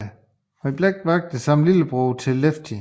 Blacks vagter samt tvillingebror til Lefty